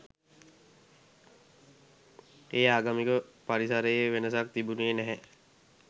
ඒ ආගමික පරිසරයේ වෙනසක් තිබුනේ නැහැ.